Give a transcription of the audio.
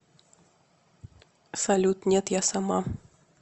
салют нет я сама